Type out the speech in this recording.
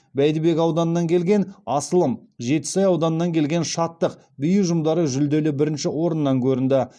бәйдібек ауданынан келген асылым жетісай ауданынан келген шаттық би ұжымдары жүлделі бірінші орыннан көрінді